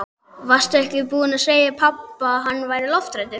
Varstu ekki búin að segja pabba að hann væri lofthræddur?